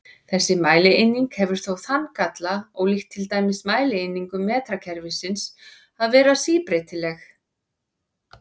Þessi mælieining hefur þó þann galla, ólíkt til dæmis mælieiningum metrakerfisins, að vera síbreytileg.